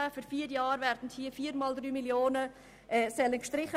Während vier Jahren werden 3 Mio. Franken gestrichen.